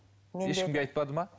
ешкімге айтпады ма